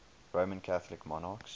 roman catholic monarchs